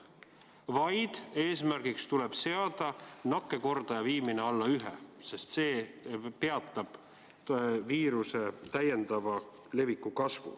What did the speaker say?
Eesmärgiks tuleb seada nakkuskordaja viimine alla 1, sest see peatab viiruse täiendava leviku kasvu.